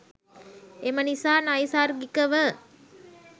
එම නිසා නෛසර්ගිකවම